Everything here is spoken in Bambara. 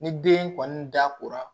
Ni den kɔni da kora